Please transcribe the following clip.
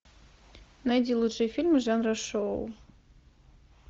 найди лучшие фильмы жанра шоу